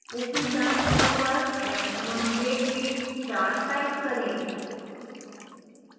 ऊपरी दायीं ओर पर maximum grade में 4 टाइप करें